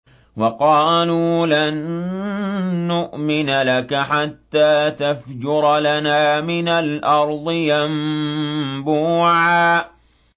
وَقَالُوا لَن نُّؤْمِنَ لَكَ حَتَّىٰ تَفْجُرَ لَنَا مِنَ الْأَرْضِ يَنبُوعًا